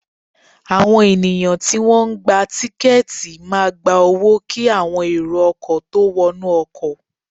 Àwọn ènìyàn tí wọ́n ń gba tiketi máa gba owó kí àwọn èrò ọkọ̀ tó wọnú ọkọ̀